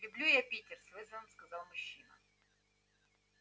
люблю я питер с вызовом сказал мужчина